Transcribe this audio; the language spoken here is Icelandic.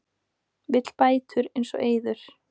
Vill bætur eins og Eiður